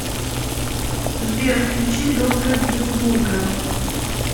сбер включи доктора гинзбурга